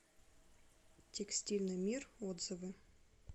текстильный мир отзывы